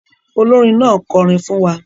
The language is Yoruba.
Olórin náà kọrin fún wa.